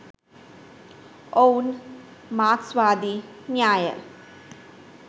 ඔවුන් මාක්ස්වාදී න්‍යාය